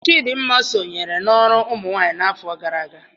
Chidinma sonyere n'ọrụ ụmụnwaanyị n'afọ gara aga.